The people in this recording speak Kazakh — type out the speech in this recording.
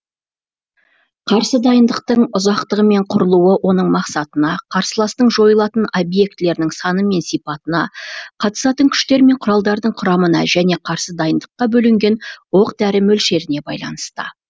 қарсы дайындықтың ұзақтығы мен құрылуы оның мақсатына карсыластың жойылатын объектілерінің саны мен сипатына қатысатын күштер мен құралдардың құрамына және қарсы дайындыққа бөлінген оқ дәрі мөлшеріне байланысты